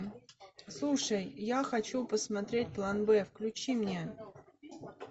слушай я хочу посмотреть план бэ включи мне